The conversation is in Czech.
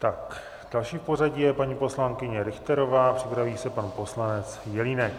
Tak další v pořadí je paní poslankyně Richterová, připraví se pan poslanec Jelínek.